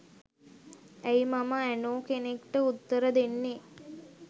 ඇයි මම ඇනෝ කෙනෙක්ට උත්තර දෙන්නේ